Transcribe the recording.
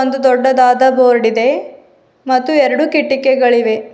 ಒಂದು ದೊಡ್ಡದಾದ ಬೋರ್ಡ್ ಇದೆ ಮತ್ತು ಎರಡು ಕಿಟಕಿಗಳಿವೆ.